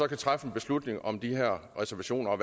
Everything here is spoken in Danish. kan træffe en beslutning om de her reservationer og